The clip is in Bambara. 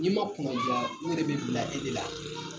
N'i ma kunadiya , u yɛrɛ bɛ bila e de la.